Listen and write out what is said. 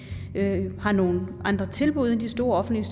har nogle andre tilbud end de store offentlige